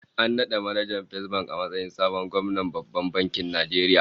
An nada manajan Fesbank a matsayin sabon gwamnan Babban Bankin Nigeria